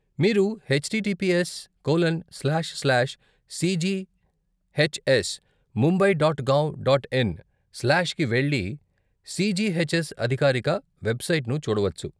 మీరు H T T P S colon slash slash C G H S Mumbai dot gov dot in slash కి వెళ్లి CGHS అధికారిక వెబ్సైట్ను చూడవచ్చు.